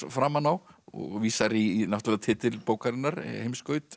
framan á vísar í náttúrulega titil bókarinnar